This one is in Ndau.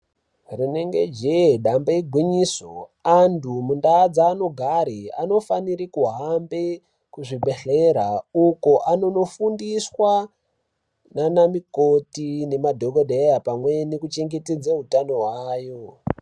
Rinenge jehe damba igwinyiso andu mundawu dzaanogare anofanire kuhambe kuzvibhedhkera uko anonofundiswa nans mukoti nemadhokodheya pamwe nekuchengetedze hutano hwavo.